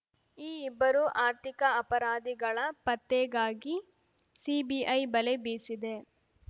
ಈ ಇಬ್ಬರು ಆರ್ಥಿಕ ಅಪರಾಧಿಗಳ ಪತ್ತೆಗಾಗಿ ಸಿಬಿಐ ಬಲೆ ಬೀಸಿದೆ